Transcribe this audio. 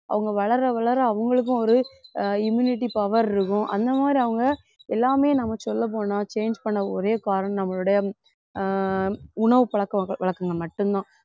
அவங்க வளர வளர அவங்களுக்கும் ஒரு ஆஹ் immunity power இருக்கும் அந்த மாதிரி அவங்க எல்லாமே நம்ம சொல்லப் போனா change பண்ண ஒரே காரணம் நம்மளுடைய ஆஹ் உணவு பழக்கவழக்க~ வழக்கங்கள் மட்டும்தான்